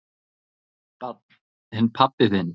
Barn: En pabbi þinn?